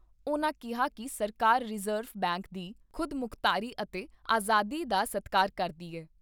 ਉਨ੍ਹਾਂ ਕਿਹਾ ਕਿ ਸਰਕਾਰ ਰਿਜ਼ਰਵ ਬੈਂਕ ਦੀ ਖੁਦਮੁਖਤਾਰੀ ਅਤੇ ਆਜ਼ਾਦੀ ਦਾ ਸਤਿਕਾਰ ਕਰਦੀ ਏ।